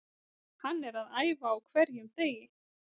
Hann er að æfa á hverjum degi.